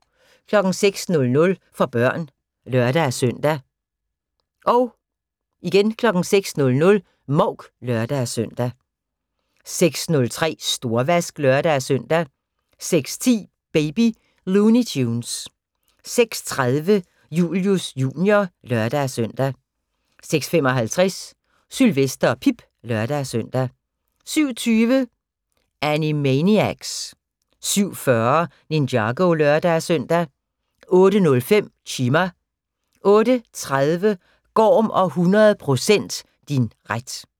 06:00: For børn (lør-søn) 06:00: Mouk (lør-søn) 06:03: Storvask (lør-søn) 06:10: Baby Looney Tunes 06:30: Julius Jr. (lør-søn) 06:55: Sylvester og Pip (lør-søn) 07:20: Animaniacs 07:40: Ninjago (lør-søn) 08:05: Chima 08:30: Gorm og 100 % din ret